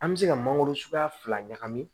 An bɛ se ka mangoro suguya fila ɲagami